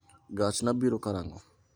Gachna biro karang'o